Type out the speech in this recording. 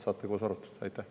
Saate koos arutada.